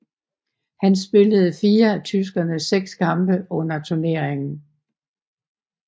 Han spillede fire af tyskernes seks kampe under turneringen